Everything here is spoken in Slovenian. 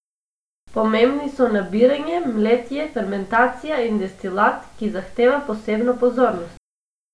Pomembni so nabiranje, mletje, fermentacija in destilat, ki zahteva posebno pozornost.